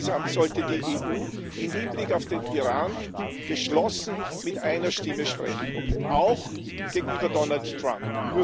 Insgesamt sollte die EU im Hinblick auf den Iran geschlossen mit einer Stimme sprechen auch gegenüber Donald Trump.